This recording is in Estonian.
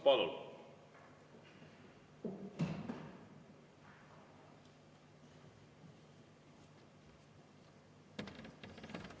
Palun!